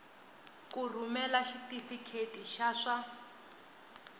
ku rhumela xitifiketi xa swa